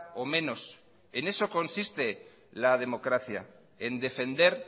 o menos en eso consiste la democracia en defender